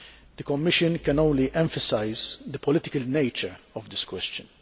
The Commission can only emphasise the political nature of this question.